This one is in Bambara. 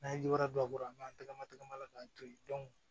N'an ye jira a kɔrɔ an b'an tagama tagama la k'an to yen